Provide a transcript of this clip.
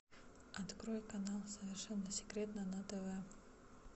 открой канал совершенно секретно на тв